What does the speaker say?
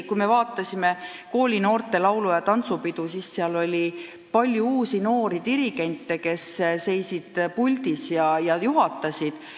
Kui me vaatasime koolinoorte laulu- ja tantsupidu, siis seal oli palju uusi noori dirigente, kes seisid puldis ja juhatasid.